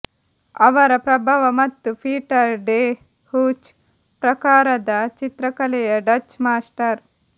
ಅವರ ಪ್ರಭಾವ ಮತ್ತು ಪೀಟರ್ ಡೆ ಹೂಚ್ ಪ್ರಕಾರದ ಚಿತ್ರಕಲೆಯ ಡಚ್ ಮಾಸ್ಟರ್